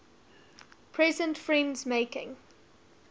present friends making